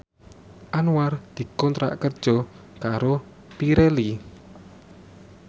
Anwar dikontrak kerja karo Pirelli